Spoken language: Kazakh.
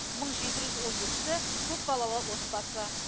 мың жеті жүз он екісі көпбалалы отбасы